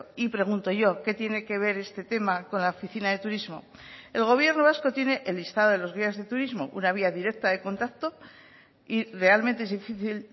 y pregunto yo qué tiene que ver este tema con la oficina de turismo el gobierno vasco tiene el listado de los guías de turismo una vía directa de contacto y realmente es difícil